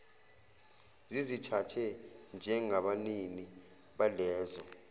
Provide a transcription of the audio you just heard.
zizithathe njengabanini balezo